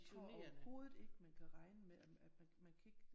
Jeg tror overhovedet ikke man kan regne med at man kan ikke